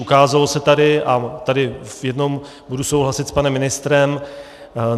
Ukázalo se tady - a tady v jednom budu souhlasit s panem ministrem.